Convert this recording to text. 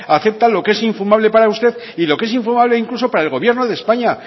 acepta lo que es infumable para usted y lo que es infumable incluso para el gobierno de españa